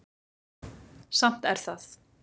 Samt er það